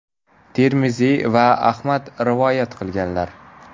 Termiziy va Ahmad rivoyat qilganlar.